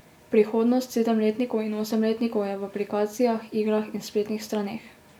Prihodnost sedemletnikov in osemletnikov je v aplikacijah, igrah in spletnih straneh.